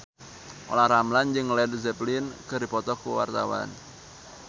Olla Ramlan jeung Led Zeppelin keur dipoto ku wartawan